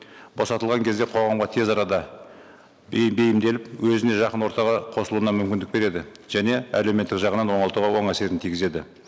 босатылған кезде қоғамға тез арада бейімделіп өзіне жақын ортаға қосылуына мүмкіндік береді және әлеуметтік жағынан оңалтуға оң әсерін тигізеді